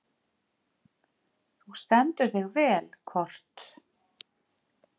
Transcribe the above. Þú stendur þig vel, Kort (mannsnafn)!